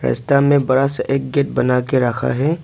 रस्ता में बड़ा सा एक गेट बना के रखा है।